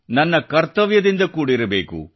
ನಮ್ಮ ಕರ್ತವ್ಯದಿಂದ ಕೂಡಿರಬೇಕು